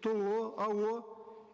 то ао